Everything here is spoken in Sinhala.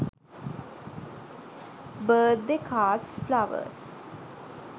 birthday cards flowers